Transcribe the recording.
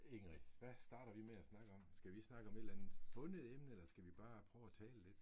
Ingrid, hvad starter vi med at snakke om? Skal vi snakke om et eller andet bundet emne, eller skal vi bare prøve at tale lidt?